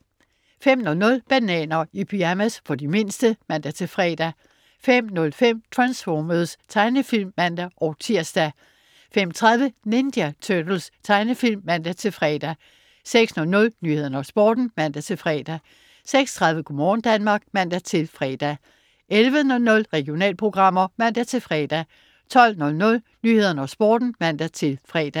05.00 Bananer i pyjamas. For de mindste (man-fre) 05.05 Transformers. Tegnefilm (man-tirs) 05.30 Ninja Turtles. Tegnefilm (man-fre) 06.00 Nyhederne og Sporten (man-fre) 06.30 Go' morgen Danmark (man-fre) 11.00 Regionalprogrammer (man-fre) 12.00 Nyhederne og Sporten (man-fre)